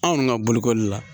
Anw ga bolokoli la